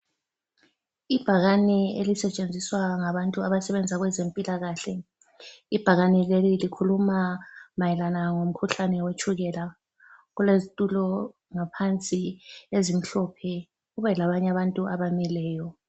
Ibhakani elisetshenziswa ngabantu abasebenza kwezempilakahle .Ibhakani leli likhuma mayelana ngo mkhuhlane wetshukela. Kulezitulo ngaphansi ezimhlophe kube labanye abantu abamileyo.